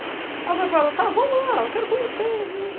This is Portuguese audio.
Aí eu falei para ela, tá, vamos lá, eu quero conhecer.